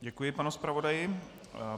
Děkuji panu zpravodaji.